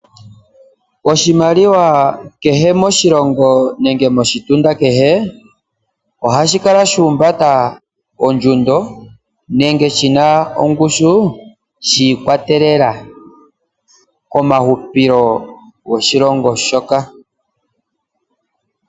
Oshimaliwa kehe moshilongo nenge moshitunda kehe ohashi kala shahumbata ondjundo nenge shina ongushu shiikwatelela komahupilo goshilongo shoka.